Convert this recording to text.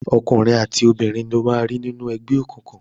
Ọkùnrin àti obìnrin lo máa rí nínú ẹgbẹ́ òkùnkùn.